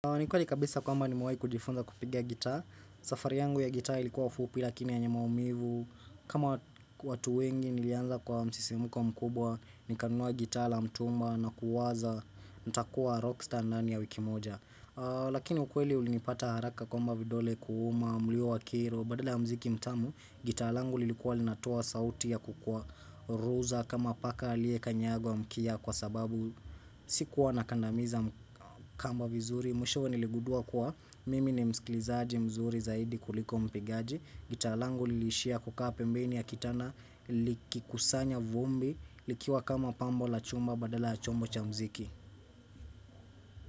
Ni kweli kabisa kwamba nimewahi kujifunza kupiga gitaa. Safari yangu ya gitaa ilikuwa fupi lakini yenye maumivu. Kama watu wengi nilianza kwa msisimko mkubwa, ni kanunua gitaa la mtumba na kuuwaza, nita kuwa rockstar ndani ya wiki moja. Lakini ukweli ulinipata haraka kwamba vidole kuuma, mluyo wa kiro, badala ya mziki mtamu, gitaa langu lilikuwa linatoa sauti ya kukuwa ruza, kama paka alie kanyagwa mkia kwa sababu sikuwa nakandamiza kamba vizuri, Mwishowe niligudua kuwa mimi ni msikilizaji mzuri zaidi kuliko mpigaji gitaa langu lilishia kukaa pembeni ya kitanda likikusanya vumbi likiwa kama pambo la chumba badala ya chombo cha mziki.